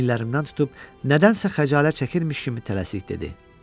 Çiyinlərimdən tutub nədənsə xəcalət çəkmişmiş kimi tələsik dedi.